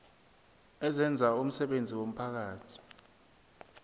ezenza umsebenzi womphakathi